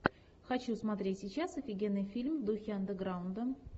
хочу смотреть сейчас офигенный фильм в духе андеграунда